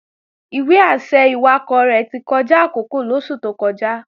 Ìwé-àṣẹ ìwakọ̀ rẹ̀ ti kọjá àkókò lóṣù tó kọjá